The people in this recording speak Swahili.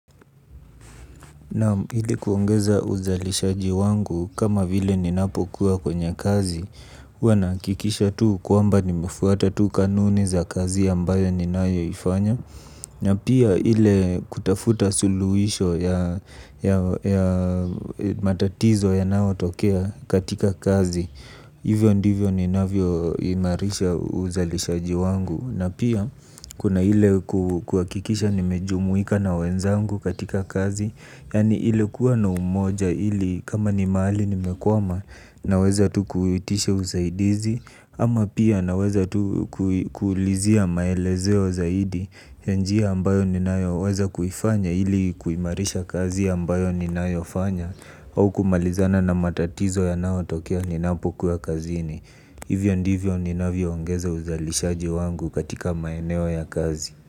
Naam ili kuongeza uzalishaji wangu kama vile ninapo kuwa kwenye kazi, wana kikisha tu kuamba nimefuata tu kanuni za kazi ambayo ninayo ifanya. Na pia hile kutafuta suluhisho ya matatizo ya nao tokea katika kazi, hivyo ndivyo ninavyo imarisha uzalishaji wangu. Na pia kuna hile kuakikisha nimejumuika na wenzangu katika kazi. Yani ile kuwa na umoja hili kama ni maali nimekuama na weza tu kuhitisha usaidizi. Ama pia naweza tu kuulizia maelezeo zaidi ya njia ambayo ninaweza kuifanya hili kuimarisha kazi ambayo ninayofanya. Au kumalizana na matatizo yanao tokea ninapokua kazini. Hivyo ndivyo ni navio ongeza uzalishaji wangu katika maeneo ya kazi.